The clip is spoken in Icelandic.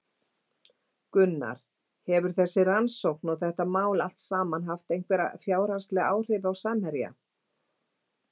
Gunnar: Hefur þessi rannsókn og þetta mál allt saman haft einhver fjárhagsleg áhrif á Samherja?